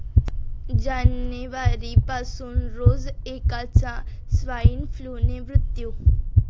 जानेवारीपासून रोज एकाचा स्वाईन फ्लूने मृत्यू